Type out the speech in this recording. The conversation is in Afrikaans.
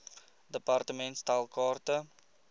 department stel kaarte